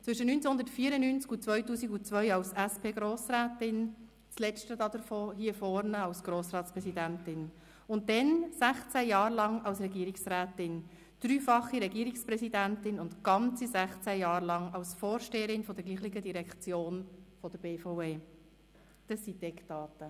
– Zwischen 1994 und 2002 als SP-Grossrätin, das letzte Jahr als Grossratspräsidentin, und dann sechzehn Jahre lang als Regierungsrätin, als dreifache Regierungspräsidentin und die ganzen sechzehn Jahre lang als Vorsteherin derselben Direktion, der BVE: Das sind die Eckdaten.